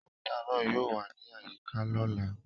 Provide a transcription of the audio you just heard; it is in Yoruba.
Weeta náà yóò wa ni ayika lọla.